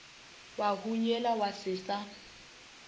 wa hunyela wa se sa